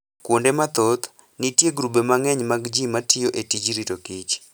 Kuonde mathoth, nitie grube mang'eny mag ji ma tiyo e tij rito Kich.